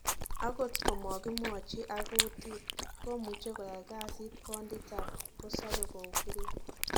Agot komakimwachi ak kutit, komuche koyai kasit kondit ab kipkosope koukila